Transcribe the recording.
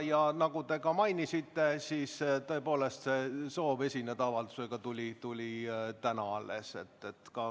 Ja nagu te mainisite, siis soov esineda avaldusega tuli tõepoolest alles täna.